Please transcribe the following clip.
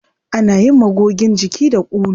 Ana yin magogin jiki da ulu.